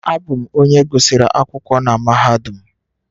Abụ m onye gụsịrị akwụkwọ na mahadum